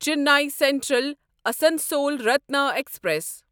Chennai central Asansol Ratna express